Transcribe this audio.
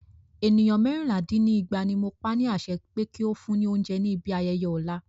Ènìyàn mẹ́rìnlá dín ní ẹgbàá ní mo pa ni àṣẹ pé kí o fún ni óúnjẹ ní ibi ayẹyẹ ọ̀la.